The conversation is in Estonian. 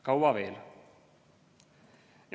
Kaua veel?